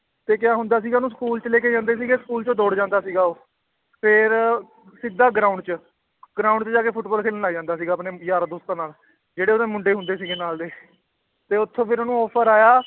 ਤੇ ਕਿਆ ਹੁੰਦਾ ਸੀਗਾ ਉਹਨੂੰ school 'ਚ ਲੈ ਕੇ ਜਾਂਦੇ ਸੀਗਾ school ਚੋਂ ਦੌੜ ਜਾਂਦਾ ਸੀਗਾ ਉਹ ਫਿਰ ਸਿੱਧਾ ground 'ਚ ground 'ਚ ਜਾ ਕੇ ਫੁਟਬਾਲ ਖੇਲਣ ਲੱਗ ਜਾਂਦਾ ਸੀਗਾ ਆਪਣੇ ਯਾਰਾਂ ਦੋਸਤਾਂ ਨਾਲ, ਜਿਹੜੇ ਉਹਦੇ ਮੁੰਡੇ ਹੁੰਦੇ ਸੀਗੇ ਨਾਲ ਦੇ ਤੇ ਉੱਥੋਂ ਫਿਰ ਉਹਨੂੰ offer ਆਇਆ